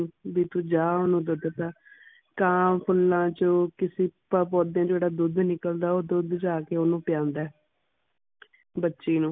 ਵੀ ਤੂੰ ਜਾ ਓਨੁ ਦੁੱਧ ਪਿਲਾ ਕਾ ਫੂਲਾ ਚੋ ਕਿਸੇ ਪੌ ਪੌਦੇ ਚੋ ਜਿਹੜਾ ਦੁੱਧ ਨਿਕਲਦਾ ਉਹ ਦੁੱਧ ਜਾ ਕੇ ਉਨੂੰ ਪਿਲਾਉਂਦਾ ਹੈ ਬੱਚੀ ਨੂੰ